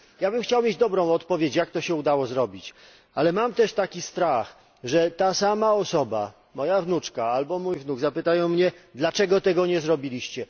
Ja bym chciał mieć dobrą odpowiedź, jak to się udało zrobić, ale mam też taki strach, że ta sama osoba, moja wnuczka albo mój wnuk, zapytają mnie Dlaczego tego nie zrobiliście?